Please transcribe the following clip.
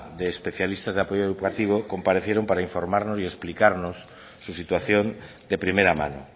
de especialistas de apoyo educativo comparecieron para informarnos y explicarnos su situación de primera mano